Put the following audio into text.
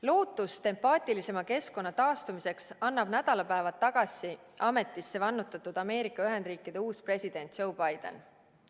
Lootust empaatilisema keskkonna taastumiseks annab Ameerika Ühendriikide nädalapäevad tagasi ametisse vannutatud uus president Joe Biden.